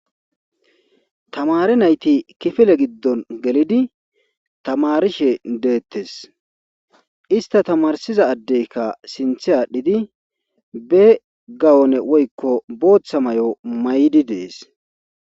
Tamare nayti kifile giddon gelidi tamarishe deettes ista tamarsiza addeykka sinthe aadhdhidi be gawone woykko booththa may7o may7di dees.